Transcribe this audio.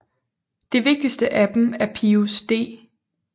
Det vigtigste af dem er Pius d